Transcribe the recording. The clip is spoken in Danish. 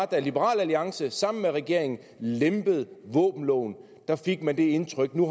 da liberal alliance sammen med regeringen lempede våbenloven fik man det indtryk at nu